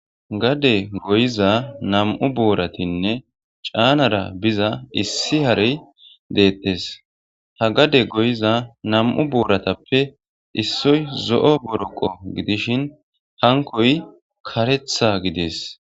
Gade goyiza nam'u booratinne caanara biza issi harey deettes ha gade goyiza nam7u booratappe issoy zo7o boroqo gidishin hankoy karetha gidees